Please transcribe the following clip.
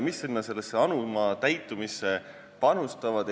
Mis sellesse anuma täitumisse panustavad?